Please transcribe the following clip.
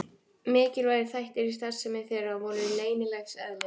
Mikilvægir þættir í starfsemi þeirra voru leynilegs eðlis.